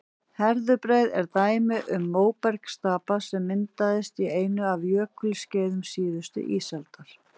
herðubreið er dæmi um móbergsstapa sem myndaðist á einu af jökulskeiðum síðustu ísaldar